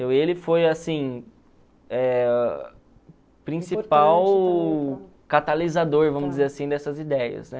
Ele foi, assim, eh o principal catalisador, vamos dizer assim, dessas ideias, né?